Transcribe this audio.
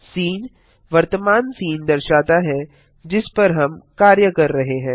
scene वर्तमान scene दर्शाता है जिस पर हम कार्य कर रहे हैं